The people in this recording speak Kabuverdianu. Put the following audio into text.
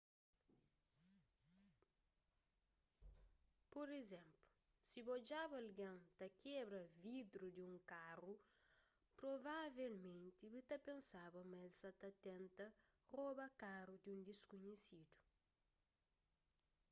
pur izénplu si bu odjaba algen ta kebra vidru di un karu provavelmenti bu ta pensaba ma el sa ta tenta roba karu di un diskunhesidu